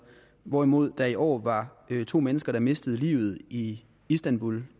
hvorimod der i år var to mennesker der mistede livet i istanbul